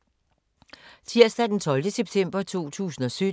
Tirsdag d. 12. september 2017